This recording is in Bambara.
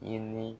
I ni